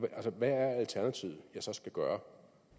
hvad er alternativet jeg så skal gøre